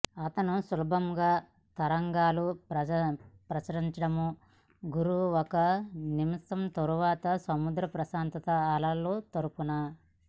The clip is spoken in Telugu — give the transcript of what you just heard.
అతను సులభంగా తరంగాలు ప్రచండముగా గుర్రు ఒక నిమిషం తరువాత సముద్ర ప్రశాంతత అలలు తరుపున